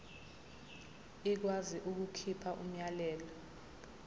ikwazi ukukhipha umyalelo